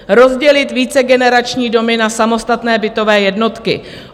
Rozdělit vícegenerační domy na samostatné bytové jednotky.